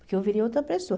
Porque eu virei outra pessoa.